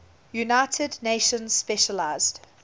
united nations specialized